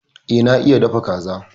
E, na iya dafa kaza.